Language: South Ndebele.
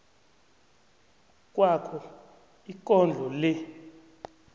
kwakho ikondlo le